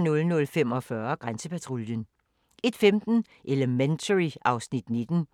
00:45: Grænsepatruljen 01:15: Elementary (Afs. 19)